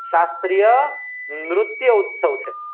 સાત્રિયનૃત્ય ઉત્સવ છે